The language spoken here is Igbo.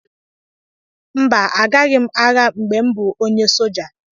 mba, Agaghị m agha mgbe m bụ onye soja